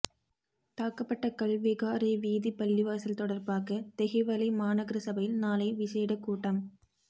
தாக்கப்பட்ட கல் விகாரை வீதி பள்ளிவாசல் தொடர்பாக தெஹிவளை மாநகர சபையில் நாளை விசேட கூட்டம்